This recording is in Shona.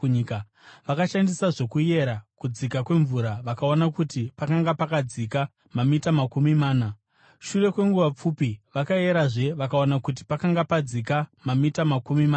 Vakashandisa zvokuyera kudzika kwemvura vakaona kuti pakanga pakadzika mamita makumi mana. Shure kwenguva pfupi, vakayerazve vakawana kuti pakanga padzika namamita makumi matatu.